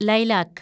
lilac